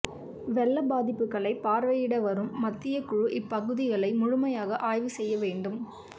வெள்ள பாதிப்புகளை பார்வையிட வரும் மத்திய குழு இப்பகுதிகளை முழுமையாக ஆய்வுசெய்ய வேண்டும்